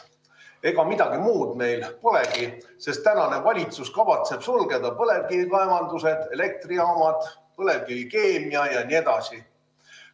Ega midagi muud meil polegi, sest tänane valitsus kavatseb sulgeda põlevkivikaevandused, elektrijaamad, põlevkivikeemiatööstuse jne.